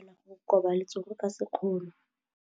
O ka kgona go koba letsogo ka sekgono.